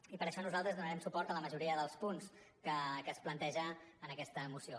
i per això nosaltres donarem suport a la majoria dels punts que es plantegen en aquesta moció